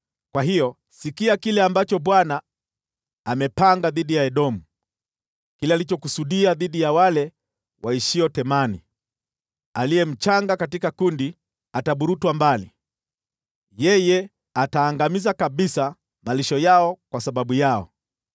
Kwa hiyo, sikia kile Bwana alichokipanga dhidi ya Edomu, kile alichokusudia dhidi ya wale waishio Temani: Aliye mchanga katika kundi ataburutwa mbali; yeye ataharibu kabisa malisho yao kwa sababu yao.